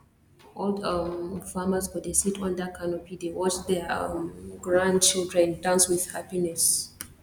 old um farmers go dey sit under canopy dey watch their um grandchildren dance with happiness